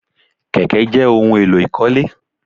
Kèké jẹ́ ohun èlò ìkọ́lé